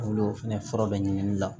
Olu fɛnɛ fura bɛɛ ɲiniŋali la